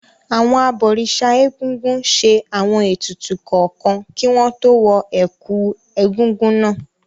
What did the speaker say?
Àwọn abọ̀rìṣà Egúngún ṣe àwọn ètùtù kọ̀ọ̀kan kí wọ́n tó wọ ẹ̀kú Egúngún wọn.